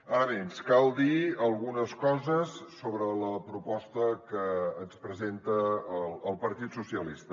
ara bé ens cal dir algunes coses sobre la proposta que ens presenta el partit socialista